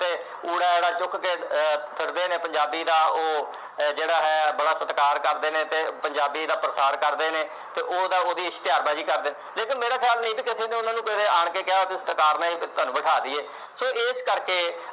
ਪੰਜਾਬੀ ਦਾ ਉਹ ਅਹ ਜਿਹੜਾ ਹੈ ਬੜਾ ਸਤਿਕਾਰ ਕਰਦੇ ਨੇ ਤੇ ਪੰਜਾਬੀ ਦਾ ਪ੍ਰਸਾਰ ਕਰਦੇ ਨੇ ਤੇ ਉਹਦਾ ਉਸਦੀ ਇਸ਼ਤਿਹਾਰਬਾਜ਼ੀ ਕਰਦੇ ਲੇਕਿਨ ਮੇਰਾ ਖਿਆਲ ਨਹੀਂ ਤੇ ਤੇ ਉਹਨੂੰ ਆਣ ਕੇ ਕਿਹਾ ਤੁਹਾਨੂੰ ਬਿਠਾ ਦਈਏ ਸੋ ਇਸ ਕਰਕੇ